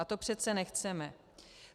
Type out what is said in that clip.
A to přece nechceme.